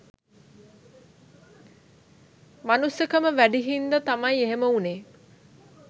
මනුස්සකම වැඩි හින්ද තමයි එහෙම උනේ.